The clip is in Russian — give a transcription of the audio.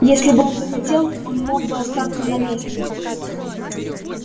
если бы он захотел он мог бы остаться на месте